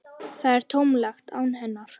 Það er tómlegt án hennar.